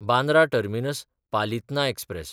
Bandra टर्मिनस–पालितना express